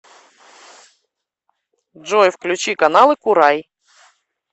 джой включи каналы курай